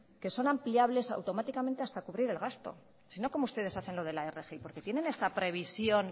que son ampliables automáticamente hasta cubrir el gasto si no cómo ustedes hacen lo de la rgi por qué tienen esta previsión